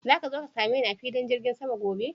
Zaka zo ka same ni a filin jirgin sama gobe?